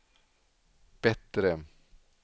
bättre